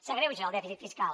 s’agreuja el dèficit fiscal